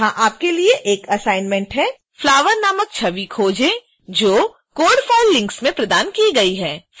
यहां आपके लिए एक असाइनमेंट है flower नामक छवि खोजें जो code files लिंक में प्रदान की गई है